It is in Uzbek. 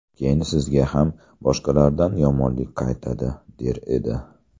Keyin sizga ham boshqalardan yomonlik qaytadi” der edi.